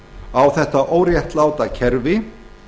á þetta óréttláta kerfi